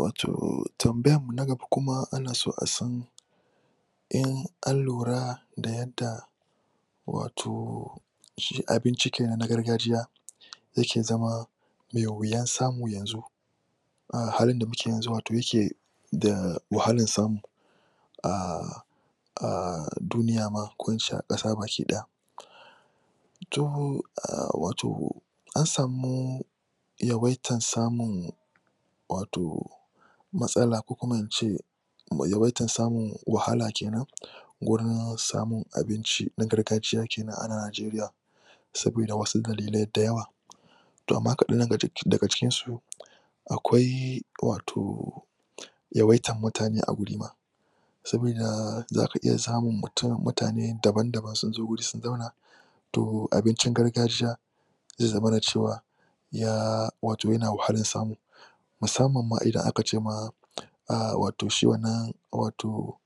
Wato tambayanmu na gaba kuma ana so a san in an lura da yadda wato shiabinci kenan na gargajiya ya ke zama me wuyan samu yanzu, a halin da kume yanzu yake da wahalan samu. Aahh aahh duniya ma ko in ce a ƙasa baki ɗaya. To wato, an samu yawaitan samun wato matsala ko kuma in ce yawaitan samun wahala kenan, gurin samun abinci na gargajiya kenan a Najeriya. Sabida wasu dalilai da yawa, to amma kaɗan daga cikinsu akwai wato yawaitar mutane a guri ma, sabida za ka iya samun mutane daban-daban sun zo wuri sun zauna, to abincin gargajiya, zai zamana da cewa yana wahalan samu, Musamman ma idan aka ce ma aahh wato shi wannan wato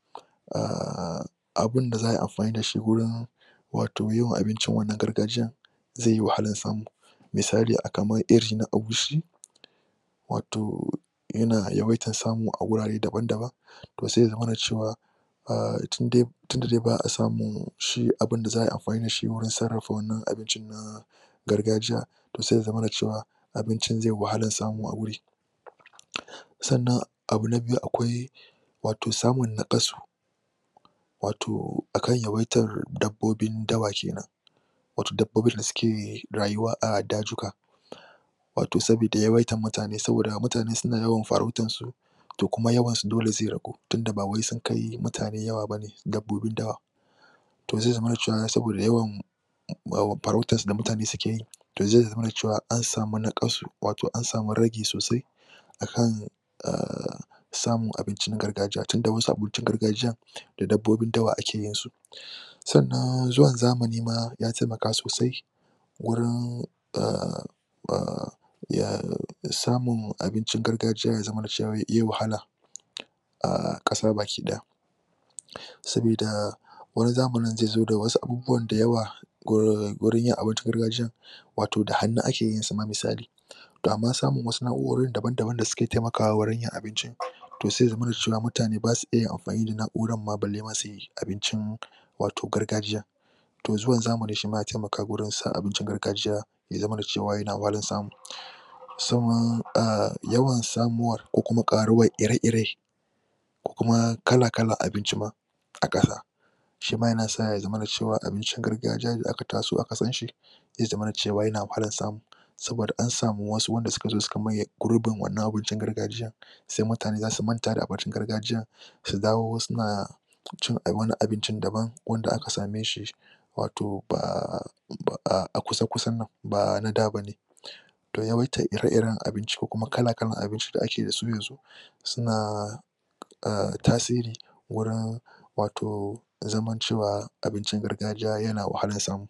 aahh abunda a ai amfani da shi wurin wato yin abincin wannan gargajiyar zai yi wahalan samu. Misali kamar iri na agushi, wato yana yawaitar samu a wurare daban-daban to sai ya zamana da cewa, aahh tundai tunda dai ba a samun shi abunda za ai amfani da shi wajen sararrafa wannan abincin na gargajiya, to sai ya zamana da cewa abincin zai yi wahalan samu a wuri. Sannan abu na biyu akwai watosamun naƙasu wato akan yawaitar dabbobin dawa kenan wato dabbobin da suke rayuwa a dazuka Wato saboda yawaitar mutane, saboda mutane suna yawaitar farautarsu to kuma yawan su dole zai ragu, tunda ba wai sun kai mutane yawa bane, dabbobin dawan to zai zamana da cewa saboda yawan farautar da mutane keyi to zai zamana da cewa an samu naƙasu, wato an samu ragi sosai, akan aahh samun abincin gargajiya tunda wasu abincin gargajiyar da dabbobin dawa ake yinsu. Sannan zuwan zamani ma ya taimaka sosai gurin aahh aahh aahh samun abincingargajiya ya zamana da cwa yai wahala a ƙasa baki ɗaya. Sabida wani zamanin zai zo da wasu abubuwan da yawa gurin yin abincin gargajiyar wato da hannu ake yin sa ma, misali, to amma samun wasu na'urorin da suke taimakawa wurin yin abincin to sai ya zamana cewa mutane ba sa iya amfani da na'urar ma balle su yi abincin wato gargajiyan. To zuwan zamani shima ya taimaka gurin sa abincin gargajiya ya zama da cewa yana wahalar samu. Ahh yawan samuwar ko kuma ƙaruwar ire-iren ko kuma kala-kalar abinci a ƙasa shima yana sa ya zamana cewa abincin gargajiya da aka taso aka san shi zai zamana da cewa shima yana wahalar samu, saboda an samu wasu wanda suka zo suka maye gurbin wannan abincin gargajiyar sai mutane za su manta da abincin gargajiyar su dawo suna cin wani abincin dabam wanda ak same shi wato ba, a kusa-kusan nan ba na da bane. To yawaitar ire-iren abinci ko kuma kala-kalan abinci da ake da su yanzu suna aahh tasiri, wurin wato zaman cewa abincin gargajiya yana wahalan samu.